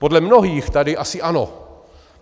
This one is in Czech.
Podle mnohých tady asi ano.